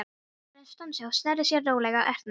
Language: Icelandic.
Maðurinn stansaði og sneri sér rólega að Erni.